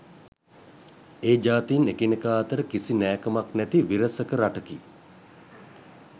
ඒ ජාතීන් එකිනෙකා අතර කිසි නෑකමක් නැති විරසක රටකි